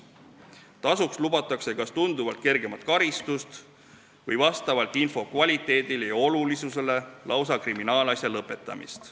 Tasuks lubatakse kas tunduvalt kergemat karistust või vastavalt info kvaliteedile ja olulisusele lausa kriminaalasja lõpetamist.